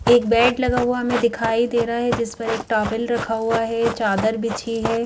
एक बेड लगा हुआ हमें दिखाई दे रहा है जिस पर एक टॉवेल रखा हुआ है चादर बिछी है।